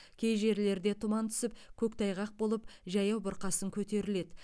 кей жерлерде тұман түсіп көктайғақ болып жаяу бұрқасын көтеріледі